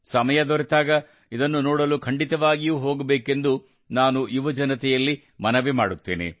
ಸಮಯ ದೊರೆತಾಗ ಇದನ್ನು ನೋಡಲು ಖಂಡಿತವಾಗಿಯೂ ಹೋಗಬೇಕೆಂದು ನಾನು ಯುವಜನತೆಯಲ್ಲಿ ಮನವಿ ಮಾಡುತ್ತೇನೆ